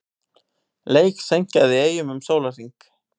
Leik seinkað í Eyjum um sólarhring